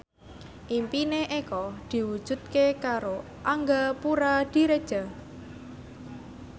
impine Eko diwujudke karo Angga Puradiredja